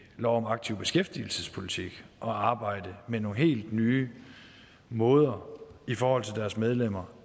lov om aktiv beskæftigelsespolitik at arbejde med nogle helt nye måder i forhold til deres medlemmer